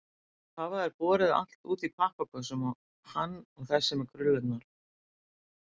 Svo hafa þeir borið allt út í pappakössum, hann og þessi með krullurnar.